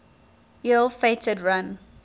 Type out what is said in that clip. ill fated run